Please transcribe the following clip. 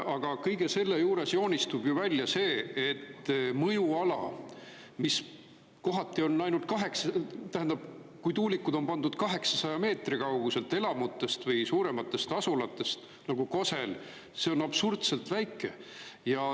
Aga kõige selle juures joonistub välja see, et mõjuala, mis kohati on ainult, tähendab, kui tuulikud on pandud 800 meetri kaugusele elamutest või suurematest asulatest nagu Kosel – see on absurdselt väike.